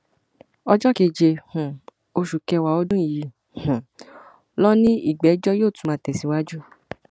ọjọ keje um oṣù kẹwàá ọdún yìí um ló ní ìgbẹjọ yóò tún máa tẹsíwájú